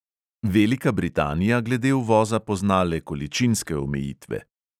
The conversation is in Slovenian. Velika britanija glede uvoza pozna le količinske omejitve.